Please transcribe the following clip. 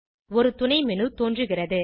ஒரு துணை மேனு தோன்றுகிறது